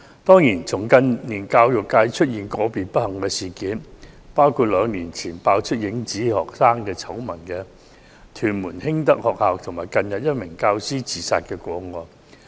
當然，近年教育界曾發生一些不幸事件，包括兩年前被揭"影子學生"醜聞的屯門興德學校，以及近日一名教師自殺的個案。